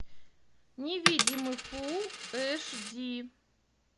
невидимый фул эш ди